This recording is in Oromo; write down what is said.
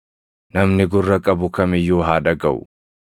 Namni gurra qabu kam iyyuu haa dhagaʼu.”